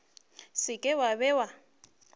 se ke wa be wa